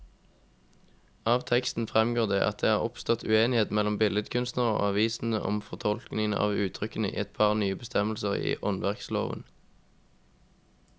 Av teksten fremgår det at det er oppstått uenighet mellom billedkunstnerne og avisene om fortolkningen av uttrykkene i et par nye bestemmelser i åndsverkloven.